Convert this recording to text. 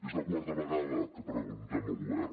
és la quarta vegada que ho preguntem al govern